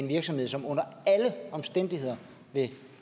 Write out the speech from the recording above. virksomhed som under alle omstændigheder vil